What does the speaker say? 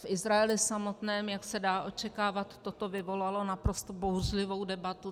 V Izraeli samotném, jak se dá očekávat, toto vyvolalo naprosto bouřlivou debatu.